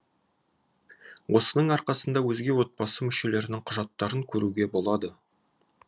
осының арқасында өзге отбасы мүшелерінің құжаттарын көруге болады